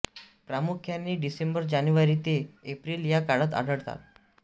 प्रामुख्याने डिसेंबर जानेवारी ते एप्रिल या काळात आढळतात